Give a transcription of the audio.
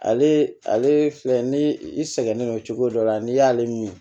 Ale ale filɛ ni i sɛgɛnnen don cogo dɔ la n'i y'ale min